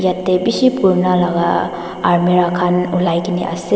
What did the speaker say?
yatae bishi purana laka almera khan olai kene ase.